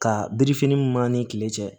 Ka birifinin mun m'an ni kile cɛ